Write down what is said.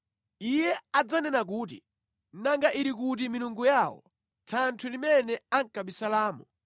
Iye adzanena kuti, “Nanga ili kuti milungu yawo, thanthwe limene ankabisalamo,